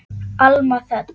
Alma Þöll.